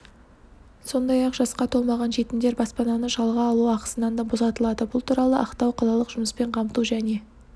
сондай-ақ жасқа толмаған жетімдер баспананы жалға алу ақысынан да босатылады бұл туралы ақтау қалалық жұмыспен қамту және